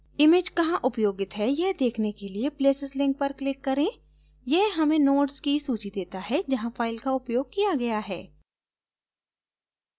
image कहाँ उपयोगित है यह देखने के लिए places link पर click करें यह हमें nodes की सूची देता है जहाँ file का उपयोग किया गया है